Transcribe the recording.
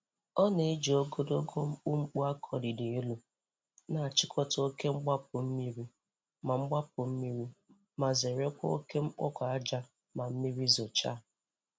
Ọ na-eji ogologo mkumkpu a kọliri elu na-achịkọta oke mgbapụ mmiri ma mgbapụ mmiri ma zerekwa oke mkpụkọ aja ma mmiri zochaa.